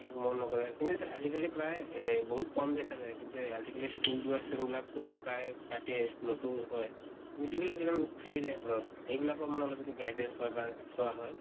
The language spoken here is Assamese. একো মন নকৰে, কিন্তু আজি কালি প্ৰায় এহ বিহুত কম ্দেখা যায়। কিন্তু এ আজি কালি school যোৱা student বিলাক তো প্ৰায়ে কাটে, school তো হয়। কিন্তু যিবিলাক এক্দম থাকি যায় ঘৰত, এই বিলাকৰ মানে অলপ যদি guidance হয় বা চোৱা হয়